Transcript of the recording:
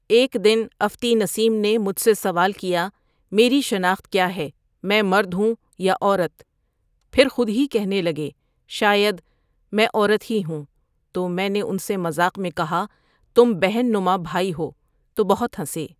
ایک دن افتی نسیم نے مجھ سے سوال کیا میری شناخت کیا ہے میں مرد ہوں یا عورت پھر خود ہی کہنے لگے شاید میں عورت ہی ہوں تو میں نے ان سے مذاق میں کہا تم بہن نما بھائی ہو تو بہت ہنسے۔